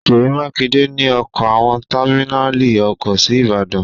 Ṣèyí Mákinde ní ọ kọ́ àwọn támínàlí ọkọ̀ sí Ìbàdàn.